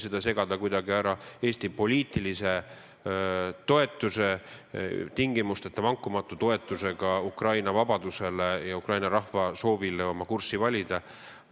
Seda ei maksa kuidagi kõrvutada Eesti poliitilise toetusega, tingimusteta, vankumatu toetusega Ukraina vabadusele ja Ukraina rahva soovile oma kurssi valida.